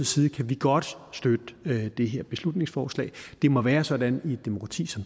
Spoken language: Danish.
side kan vi godt støtte det her beslutningsforslag det må være sådan i et demokrati som